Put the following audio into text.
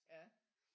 Ja